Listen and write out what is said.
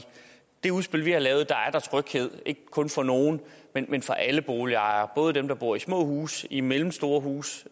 det udspil vi har lavet er der tryghed ikke kun for nogle men men for alle boligejere både dem der bor i små huse i mellemstore huse